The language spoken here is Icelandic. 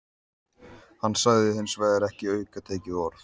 Hann sagði hins vegar ekki aukatekið orð.